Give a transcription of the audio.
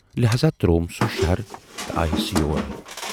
لہذا ترووُم سُہ شہر تہٕ آیس یور۔